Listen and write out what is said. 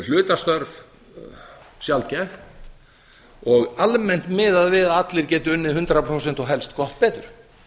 hlutastörf sjaldgæf og almennt miðað við að allir geti unnið hundrað prósent og helst gott